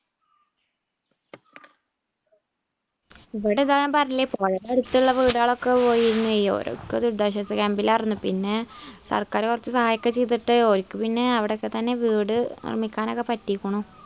ഇവിടെ താ ഞാൻ പറഞ്ഞില്ലേ പുഴയുടെ അടുത്തു ഉള്ള വീടുകൾ ഒക്കെ പോയിരുന്നു ഓരൊക്കെ ദുരിതാശ്വാസ ക്യാമ്പിൽ ആയിരുന്നു പിന്നെ സർക്കാര് കുറച്ച് സഹായമൊക്കെ ചെയ്തിട്ട് ഒൽക്ക് പിന്നെ അവിടൊക്കെ തന്നെ വീടു നിർമ്മിക്കാൻ ഒക്കെ പറ്റിയിക്കണു.